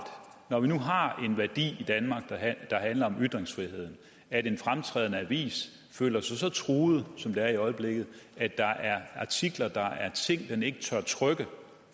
når vi nu har en værdi i danmark der handler om ytringsfrihed at en fremtrædende avis føler sig så truet som den gør i øjeblikket at der er artikler den ikke tør trykke